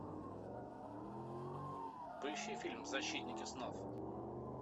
поищи фильм защитники снов